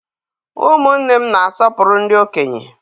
Ụmụnne m na-asọpụrụ ndị okenye.